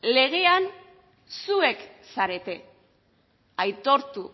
legean zuek zarete aitortu